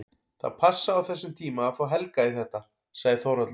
Það passaði á þessum tíma að fá Helga í þetta, sagði Þórhallur.